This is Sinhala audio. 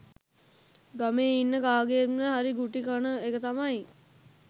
ගමේ ඉන්න කාගෙන්ම හරි ගුටි කන එක තමයි.